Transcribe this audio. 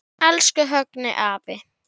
Elsku Högni afi.